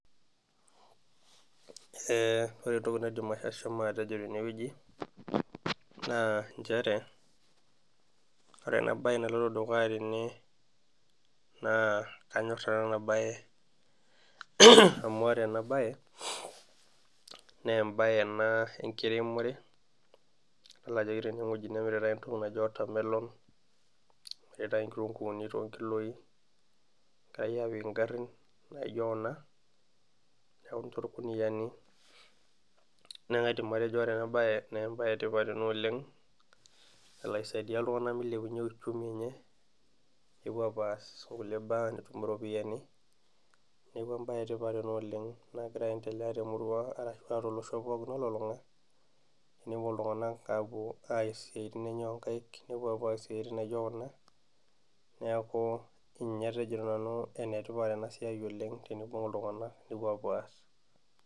Ee ore entoki naidim ashomo atejo tene wueji, naa nchere ore ena bae naloito dukuya tene, naa anyor nanu ena bae amu, ore ena bae naa ebae ena enkiremore, idol ajo ore ene wueji nemiritae entoki naji watermelon neetae inkitunkuuni too nkuapi, itayu apik garin, naijo Kuna neeku tolkuniyiani . neeku kaidim atejo ore ena bae naa ebae etipat ena oleng, nalo aisaidia, iltunganak milepunye uchumi enye, nepuo apuo aas nkulie baa iropiyiani, neeku ebae etipat ena oleng, nagira aendelea temurua ashu aa tolosho pookin olulunga, nepuo iltunganak aapuo, aas isiatin enye oonkaik, nepuo aas isiatin naijo Kuna, neeku aidim atejo nanu, enetipat ena siai oleng tenibung iltunganak nepuo apuo aas.